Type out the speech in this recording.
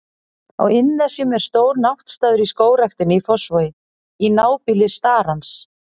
Á Innnesjum er stór náttstaður í Skógræktinni í Fossvogi, í nábýli starans.